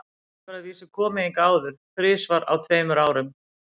Hann hefur að vísu komið hingað áður, þrisvar á tveimur árum.